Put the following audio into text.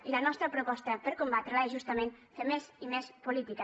i la nostra proposta per combatre la és justament fer més i més política